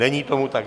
Není tomu tak.